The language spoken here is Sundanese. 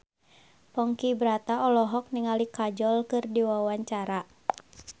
Ponky Brata olohok ningali Kajol keur diwawancara